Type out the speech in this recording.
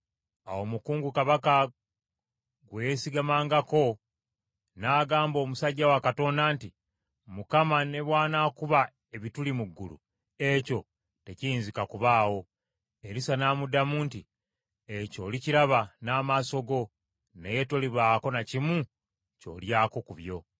Awo omukungu kabaka gwe yeesigamangako n’agamba omusajja wa Katonda nti, “ Mukama ne bw’anakuba ebituli mu ggulu, ekyo tekiyinzika kubaawo.” Erisa n’amuddamu nti, “Ekyo olikiraba n’amaaso go, naye tolibaako na kimu ky’olyako ku byo.”